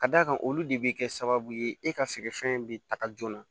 Ka d'a kan olu de bɛ kɛ sababu ye e ka feerefɛn bɛ taga joona